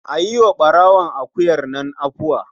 A yi wa ɓarawon akuyar nan afuwa.